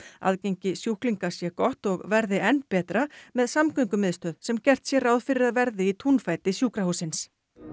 aðgengi sjúklinga sé gott og verði enn betra með samgöngumiðstöð sem gert sé ráð fyrir að verði í túnfæti sjúkrahússins